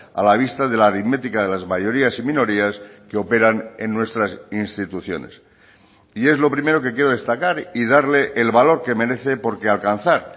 a la vista de la aritmética de las mayorías y minorías que operan en nuestras instituciones y es lo primero que quiero destacar y darle el valor que merece porque alcanzar